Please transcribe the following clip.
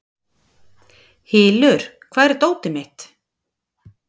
Hylur, hvar er dótið mitt?